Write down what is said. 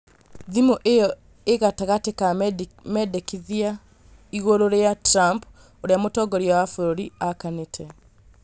Thimũ iyo ĩgatagatĩ ka mendekithia igũrũ rĩa Trump ũrĩa mũtongoria wa bũrũri akanĩte